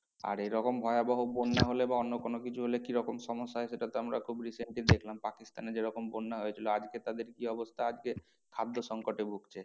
আর এরকম ভয়াবহ বন্যা হলে বা অন্য কোনো কিছু হলে কিরকম সমস্যা হয় সেটা তো আমরা খুব recently দেখলাম পাকিস্তানে যেরকম বন্যা হয়েছিল আজকে তাদের কি অবস্থা আজকে খাদ্য সংকটে ভুগছে।